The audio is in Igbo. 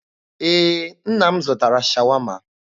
Ee, nna m zụtara Shawama.